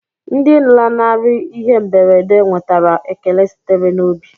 Ndị lanarịrị ihe mberede nwetara ekele sitere n'obi.